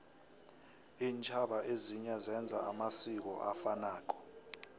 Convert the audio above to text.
intjhaba ezinye zenza amasiko afanako